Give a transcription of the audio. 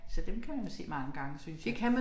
Så dem kan man jo se mange gange synes jeg